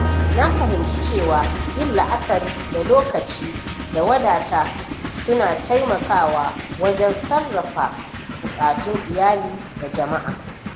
Na fahimci cewa yin la’akari da lokaci da wadata suna taimakawa wajen sarrafa bukatun iyali da jama’a.